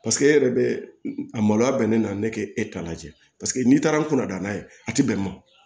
Paseke e yɛrɛ bɛ a maloya bɛnnen na ne tɛ e ta la jɛ paseke n'i taara n kunna n'a ye a tɛ bɛn wa